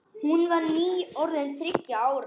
Hún var nýorðin þriggja ára.